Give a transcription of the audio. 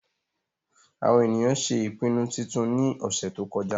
àwọn ènìyàn ṣé ìpinnu titun ní ọ̀sẹ̀ tó kọjá